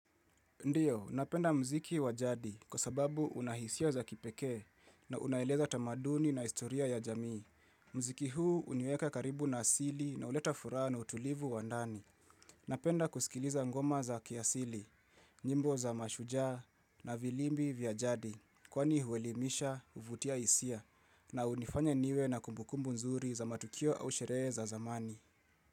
Ndiyo, napenda mziki wa jadi kwa sababu una hisia za kipekee na unaeleza tamaduni na historia ya jamii. Muziki huu hunieka karibu na asili na huleta furaha na utulivu wa ndani. Napenda kusikiliza ngoma za kiasili, nyimbo za mashujaa na vilimbi vya jadi. Kwani huelimisha, kuvutia isia na hunifanya niwe na kumbu kumbu nzuri za matukio au sherehe za zamani.